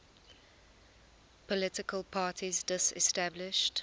political parties disestablished